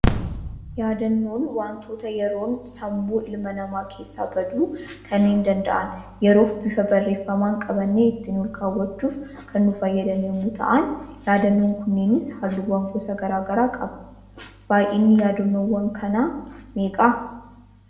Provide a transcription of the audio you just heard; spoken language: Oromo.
Yaadannoon waantota yeroon sammuu ilma namaa keessaa baduu kanneen danda'an yeroof bifa barreeffamaan qabannee ittiin ol kaawwachuuf kan nu fayyadan yemmuu ta'an, yaadannoon kunneenis halluuwwan gosa garaagaraa qaba. Baayyinni yaadannoowwan kana meeqa?